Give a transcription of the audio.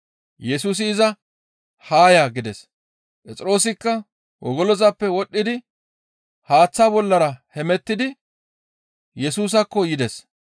Yesusi iza, «Haa ya!» gides. Phexroosikka wogolozappe wodhdhidi haaththa bollara hemettidi Yesusaakko yides.